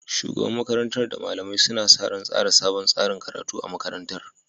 Shugaban makarantar da malamai suna sa ran tsara sabon tsarin karatu a makarantar